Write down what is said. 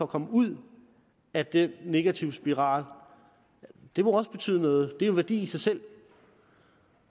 komme ud af den negative spiral det må også betyde noget det er en værdi i sig selv